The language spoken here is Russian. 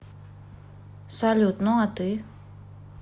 салют ну а ты